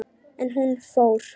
En hún fór.